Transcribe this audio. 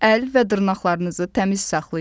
Əl və dırnaqlarınızı təmiz saxlayın.